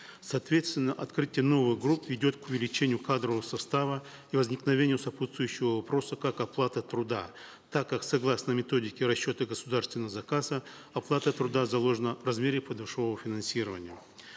соответственно открытие новых групп ведет к увеличению кадрового состава и возникновению сопутствующего вопроса как оплата труда так как согласно методике расчета государственного заказа оплата труда заложена в размере подушевого финансирования